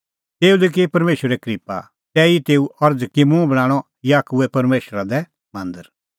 तेऊ लै की परमेशरै क्रिप्पा तैही की तेऊ अरज़ कि मुंह बणांणअ याकूबे परमेशरा लै मांदर